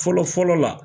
Fɔlɔ fɔlɔ la